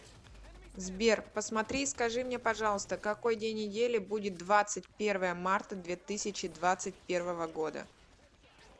сбер посмотри и скажи мне пожалуйста какой день недели будет двадцать первое марта две тысячи двадцать первого года